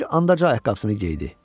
Bir anda ayaqqabısını geydi.